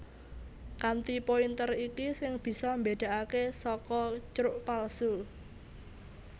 Kanthi pointer iki sing bisa mbédakaké saka crux palsu